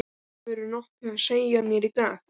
Hefurðu nokkuð að segja mér í dag?